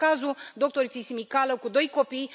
Este cazul doctoriței Simicală, cu doi copii.